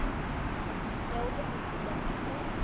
ya u ṱo ḓisisa mpfu